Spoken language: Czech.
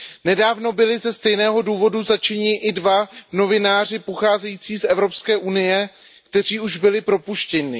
Nedávno byli ze stejného důvodu zatčeni i dva novináři pocházející z Evropské unie, kteří již byli propuštěni.